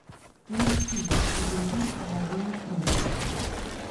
найти южный жареный кролик